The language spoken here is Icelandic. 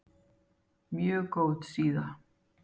Mjög góð síða.